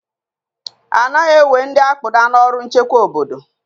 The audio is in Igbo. Anaghị ewe ndị akpụda n'ọrụ nchekwa obodo